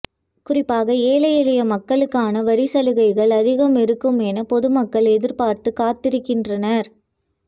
குறிப்பாக ஏழை எளிய மக்களுக்கான வரிச்சலுகைகள் அதிகம் இருக்கும் என பொதுமக்கள் எதிர்பார்த்து காத்திருக்கின்றனர்